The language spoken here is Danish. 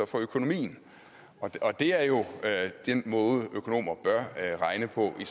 for økonomien det er jo den måde økonomer bør regne på i